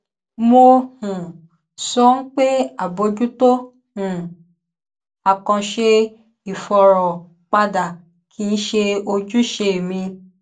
mo um sọ pé àbójútó um àkànṣe ìfọrọ padà kì í ṣe ojúṣe mi